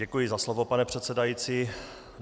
Děkuji za slovo, pane předsedající.